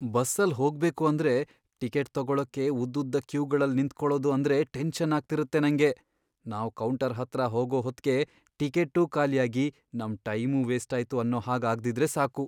ಬಸ್ಸಲ್ ಹೋಗ್ಬೇಕು ಅಂದ್ರೆ ಟಿಕೆಟ್ ತಗೊಳಕ್ಕೆ ಉದ್ದುದ್ದ ಕ್ಯೂಗಳಲ್ಲ್ ನಿಂತ್ಕೊಳದು ಅಂದ್ರೆ ಟೆನ್ಷನ್ ಆಗ್ತಿರತ್ತೆ ನಂಗೆ, ನಾವ್ ಕೌಂಟರ್ ಹತ್ರ ಹೋಗೋ ಹೊತ್ಗೆ ಟಿಕೆಟ್ಟೂ ಖಾಲಿಯಾಗಿ ನಮ್ ಟೈಮೂ ವೇಸ್ಟಾಯ್ತು ಅನ್ನೋ ಹಾಗ್ ಆಗ್ದಿದ್ರೆ ಸಾಕು.